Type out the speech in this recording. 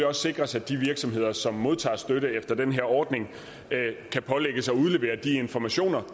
også sikres at de virksomheder som modtager støtte efter den her ordning kan pålægges at udlevere de informationer